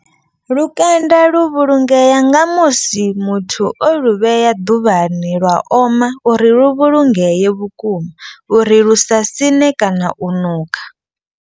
Lukanda lu vhulungea nga musi muthu o lu vhea ḓuvhani lwa oma. Uri lu vhulungee vhukuma uri lu sa siṋe kana u nukha.